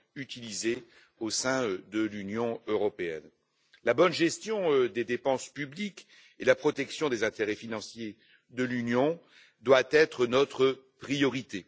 utilisé au sein de l'Union européenne. La bonne gestion des dépenses publiques et la protection des intérêts financiers de l'Union doivent être notre priorité.